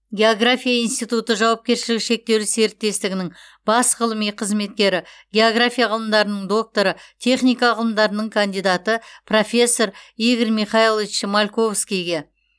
география институты жауапкершілігі шектеулі серіктестігінің бас ғылыми қызметкері география ғылымдарының докторы техника ғылымдарының кандидаты профессор игорь михайлович мальковскийге